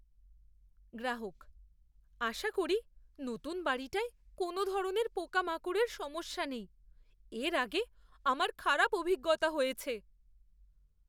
গ্রাহক "আশা করি নতুন বাড়িটায় কোনও ধরনের পোকামাকড়ের সমস্যা নেই; এর আগে আমার খারাপ অভিজ্ঞতা হয়েছে।"